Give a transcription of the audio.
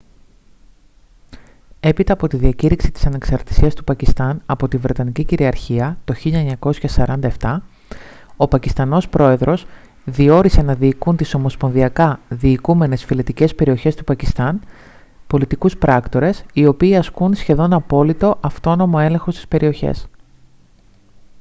έπειτα από τη διακήρυξη της ανεξαρτησίας του πακιστάν από τη βρετανική κυριαρχία το 1947 ο πακιστανός πρόεδρος διόρισε να διοικούν τις ομοσπονδιακά διοικούμενες φυλετικές περιοχές του πακιστάν «πολιτικούς πράκτορες» οι οποίοι ασκούν σχεδόν απόλυτο αυτόνομο έλεγχο στις περιοχές